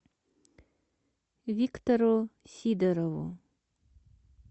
виктору сидорову